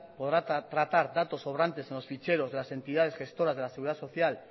podrá tratar datos sobrantes en los ficheros de las entidades gestoras de la seguridad social